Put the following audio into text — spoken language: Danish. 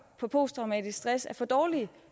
om posttraumatisk stress syndrom er for dårlige